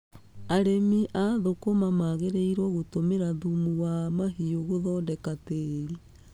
Arĩmi a thũkũma magĩrĩirwo gũtũmĩra thumu wa mahiũ gũthondeka tĩĩri.